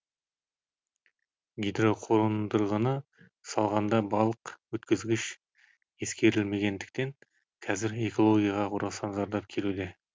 гидроқондырғыны салғанда балық өткізгіш ескерілмегендіктен қазір экологияға орасан зардап келуде